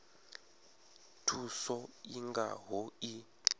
thuso i nga ho iyi